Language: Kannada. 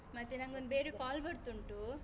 ಮತ್ತೆ ನಂಗೊಂದು ಬೇರೆ call ಬರ್ತುಂಟು.